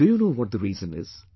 Do you know what the reason is